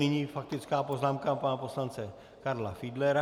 Nyní faktická poznámka pana poslance Karla Fiedlera.